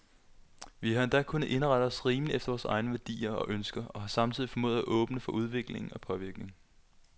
Vi har endda kunnet indrette os rimeligt efter vore egne værdier og ønsker, og har samtidig formået at være åbne for udvikling og påvirkning.